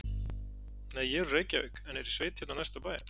Nei, ég er úr Reykjavík en er í sveit hérna á næsta bæ.